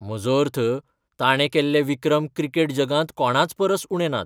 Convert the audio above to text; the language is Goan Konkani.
म्हजो अर्थ, ताणें केल्ले विक्रम क्रिकेट जगांत कोणाचपरस उणे नात.